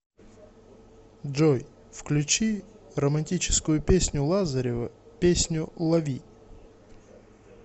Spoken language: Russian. джой включи романтическую песню лазарева песню лови